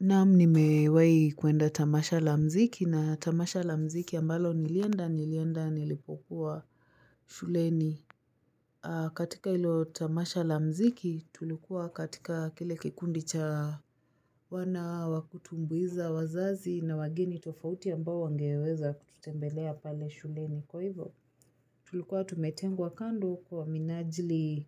Naamu nimewei kuenda tamasha la mziki na tamasha la mziki ambalo nilienda nilienda nilipokuwa shuleni katika ilo tamasha la mziki tulikuwa katika kile kikundi cha wana wakutumbuiza wazazi na wageni tofauti ambao wangeweza kutembelea pale shuleni kwa hivyo Tulikuwa tumetengwa kando kwa minajili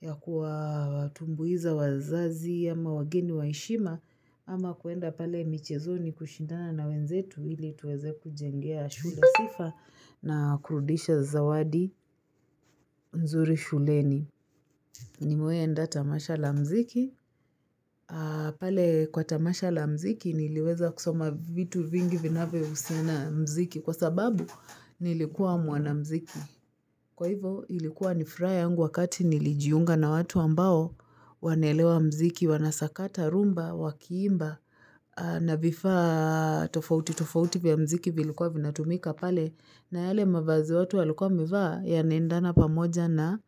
ya kuatumbuiza wazazi ama wageni waishima ama kuenda pale michezoni kushindana na wenzetu hili tuweze kujengea shule sifa na kurudisha zawadi nzuri shuleni. Ni mewai enda tamasha la mziki, pale kwa tamasha la mziki niliweza kusoma vitu vingi vinaweusiana mziki kwa sababu nilikuwa mwanamziki. Kwa hivo ilikuwa nifraya yangu wakati nilijiunga na watu ambao wanelewa mziki, wanasakata rumba, wakiimba, na vifa tofauti tofauti vya mziki vilikuwa vinatumika pale. Na yale mavazi watu walkuwa wameva yanaendana pamoja na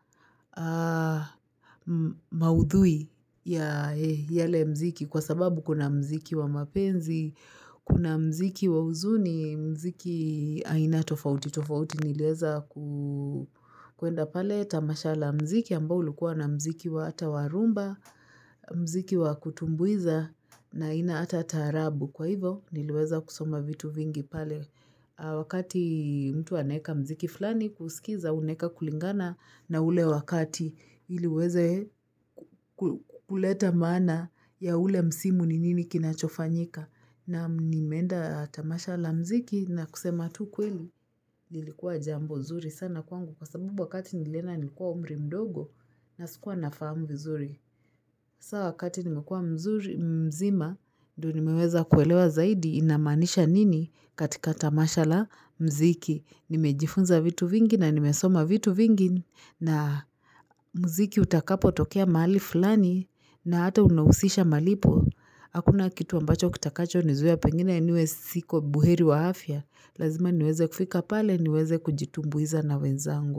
maudhui ya yale mziki kwa sababu kuna mziki wa mapenzi, kuna mziki wa uzuni, mziki aina tofauti, tofauti nileza kuenda pale. Tamasha la mziki ambao ulikuwa na mziki wa ata warumba, mziki wa kutumbuiza na ina ata tarabu kwa hivo niliweza kusoma vitu vingi pale wakati mtu aneka mziki flani kusikiza uneka kulingana na ule wakati iliweze kuleta mana ya ule msimu ninini kinachofanyika. Naam nimenda tamasha la mziki na kusema tu ukweli nilikuwa jambo zuri sana kwangu kwa sabubu wakati nilenda nilkuwa umri mdogo na sikuwa nafamu vizuri sawa wakati nimekua mzima ndo nimeweza kuelewa zaidi inamanisha nini katika tamasha la mziki nimejifunza vitu vingi na nimesoma vitu vingi na mziki utakapo tokea mali fulani na ata unawusisha malipo Hakuna kitu ambacho kitakacho nizuia pengine niwe siko buheri wa hafya, lazima niweze kufika pale niweze kujitumbuiza na wenzango.